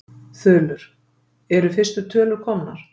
Þulur: Eru fyrstu tölu komnar?